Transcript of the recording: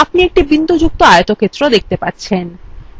আপনি একটি বিন্দুযুক্ত আয়তক্ষেত্র দেখতে পাচ্ছেন